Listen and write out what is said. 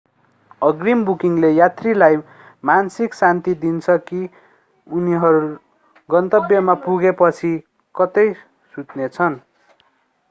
अग्रिम बुकिङले यात्रीलाई मानसिक शान्ति दिन्छ कि उनीहरू गन्तव्यमा पुगेपछि कतै सुत्नेछन